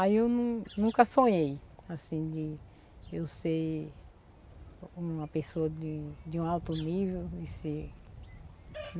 Aí eu nu nunca sonhei, assim, de eu ser uma pessoa de de um alto nível, de ser